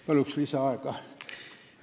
Palun lisaaega!